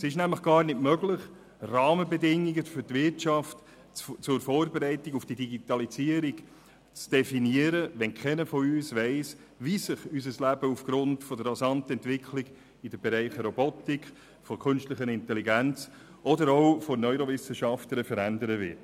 Es ist nämlich gar nicht möglich, Rahmenbedingungen für die Wirtschaft zur Vorbereitung auf die Digitalisierung zu definieren, wenn keiner von uns weiss, wie sich unser Leben aufgrund der rasanten Entwicklung in den Bereichen Robotik, künstliche Intelligenz oder auch Neurowissenschaften verändern wird.